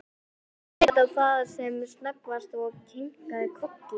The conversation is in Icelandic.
Hún leit á það sem snöggvast og kinkaði kolli.